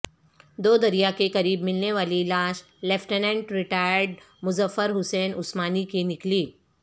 دو دریا کے قریب ملنے والی لاش لیفٹیننٹ ریٹائرڈ مظفر حسین عثمانی کی نکلی